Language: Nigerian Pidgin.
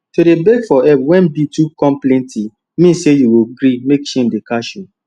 to dey beg for help when bill too come plenty mean say you go gree mek shame dey catch you